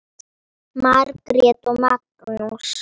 Margrét og Magnús.